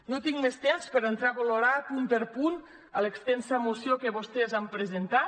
no tinc més temps per entrar a valorar punt per punt l’extensa moció que vostès han presentat